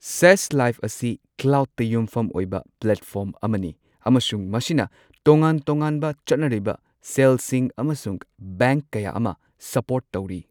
ꯁꯦꯖ Live ꯑꯁꯤ ꯀ꯭ꯂꯥꯎꯗꯇ ꯌꯨꯝꯐꯝ ꯑꯣꯏꯕ ꯄ꯭ꯂꯦꯠꯐꯣꯔꯝ ꯑꯃꯅꯤ, ꯑꯃꯁꯨꯡ ꯃꯁꯤꯅ ꯇꯣꯉꯥꯟ ꯇꯣꯉꯥꯟꯕ ꯆꯠꯅꯔꯤꯕ ꯁꯦꯜꯁꯤꯡ ꯑꯃꯁꯨꯡ ꯕꯦꯡꯛ ꯀꯌꯥ ꯑꯃ ꯁꯄꯣꯔꯠ ꯇꯧꯔꯤ꯫